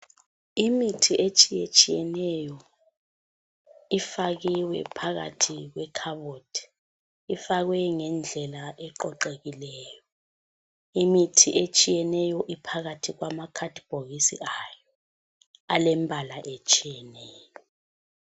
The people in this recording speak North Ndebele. Imithi etshiye tshiyeneyo ifakiwe phakathi kwekhabothi. Ifakwe ngendlela eqoqekileyo. Imithi etshiyeneyo iphakathi kwama khadibhokisi ayo elombala otshiyeneyo.